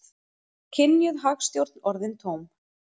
Kynjuð hagstjórn orðin tóm